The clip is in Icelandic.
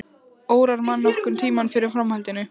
Órar mann nokkurn tímann fyrir framhaldinu.